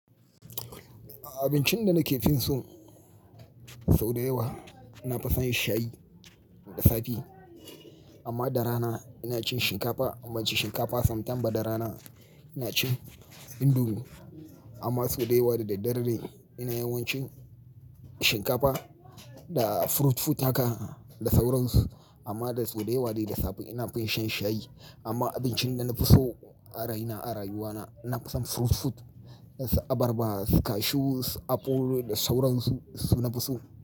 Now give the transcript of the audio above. Abincin da nake fin so sau da yawa ina fason shayi da safe amma da rana ina cin shinkafa. Amma cin shinkafa sam fortan ba da rana ina cin indomi amma sau da yawa da daddare ina yawan cin shinkafa da fruit fruit haka da sauransu. Amma da sau da yawa dai da safe ina fin shan shayi. Amma abincin da nafi so a rayina, a rayuwa na, ina fason fruit fruit, s-abarba, su cashew, su aɓol da sauransu su nafison.